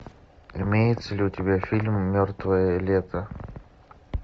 имеется ли у тебя фильм мертвое лето